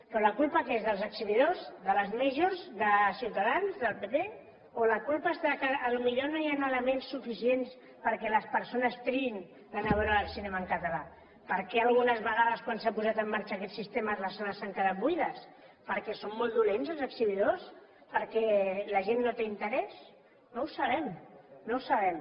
però la culpa de qui és dels exhibidors de les majors de ciutadans del pp o la culpa és del fet que potser no hi han elements suficients perquè les persones triïn d’anar a veure el cinema en català per què algunes vegades quan s’ha posat en marxa aquest sistema les sales han quedat buides perquè són molt dolents els exhibidors perquè la gent no té interès no ho sabem no ho sabem